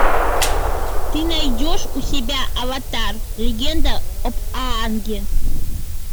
ты найдешь у себя аватар легенда об аанге